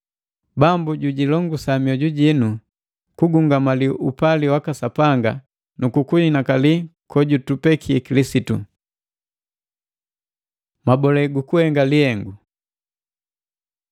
Bambu jujilongusa mioju jii kugumanya upali waka Sapanga na kukuinakali kojutupeke Kilisitu. Mabole gukuhenga lihengu